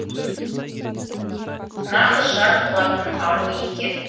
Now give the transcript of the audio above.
нағыз жар болатын ару екен